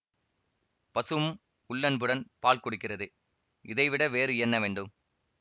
பசுவும் உள்ளன்புடன் பால் கொடுக்கிறது இதைவிட வேறு என்ன வேண்டும்